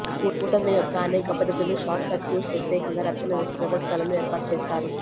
స్కూటర్ల యొక్క అనేక పద్దతులు షార్ట్ సర్క్యూట్స్ వ్యతిరేకంగా రక్షణ వ్యవస్థలను ఏర్పాటు చేస్తారు